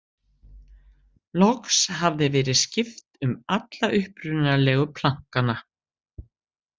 Loks hafði verið skipt um alla upprunalegu plankana.